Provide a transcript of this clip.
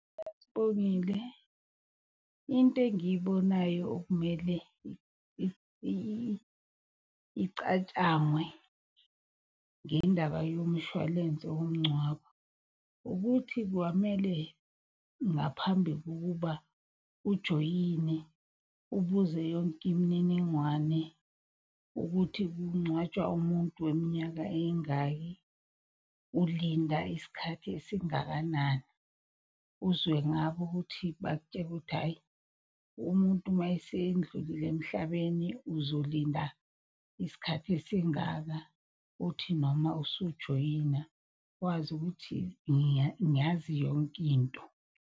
Sibongile, into engiyibonayo okumele icatshangwe ngendaba yomshwalense womngcwabo. Ukuthi kwamele ngaphambi kokuba ujoyine ubuze yonke imniningwane ukuthi. Kungcwatshwa umuntu weminyaka eyingaki, ulinda isikhathi esingakanani. Uzwe ngabo ukuthi bakutshele ukuthi, hhayi umuntu mayesendlulile emhlabeni uzolinda isikhathi esingaka. Uthi noma usujoyina wazi ukuthi, ngiyazi yonkinto.